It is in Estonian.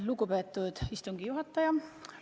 Lugupeetud istungi juhataja!